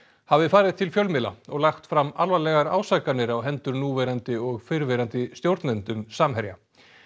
hafi farið til fjölmiðla og lagt fram alvarlegar ásakanir á hendur núverandi og fyrrverandi stjórnendum Samherja